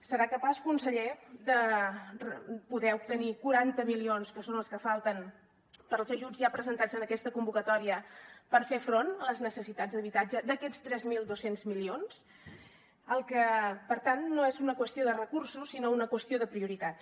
serà capaç conseller de poder obtenir quaranta milions que són els que falten per als ajuts ja presentats en aquesta convocatòria per fer front a les necessitats d’habitatge d’aquests tres mil dos cents milions per tant no és una qüestió de recursos sinó una qüestió de prioritats